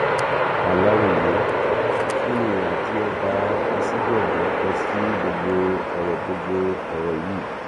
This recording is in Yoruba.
aláròyé kí ni ìhà tí ọba asigangan kọ sí gbogbo ọrọ gbogbo ọrọ yìí